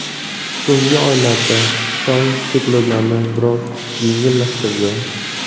So‘nggi oylarda Xitoy cheklovlarni biroz yengillashtirdi.